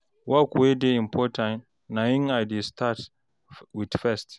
work wey dey important na im I dey start wit first